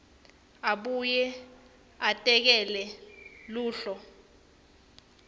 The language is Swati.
abuye atakhele luhlu